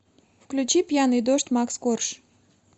включи пьяный дождь макс корж